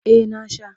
Eh na sha.